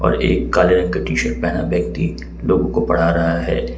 और एक काले रंग का टी शर्ट पहना व्यक्ति लोगों को पढ़ा रहा है।